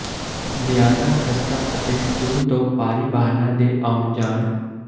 ਜਿਆਦਾ ਖਸਤਾ ਅਤੇ ਪੁਲ ਤੋ ਭਾਰੀ ਵਾਹਨਾ ਦੇ ਆਉਣ ਜਾਣ